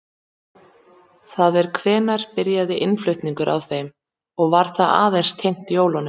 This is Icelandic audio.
Það er hvenær byrjaði innflutningur á þeim og var það aðeins tengt jólunum?